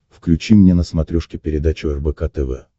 включи мне на смотрешке передачу рбк тв